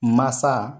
Masa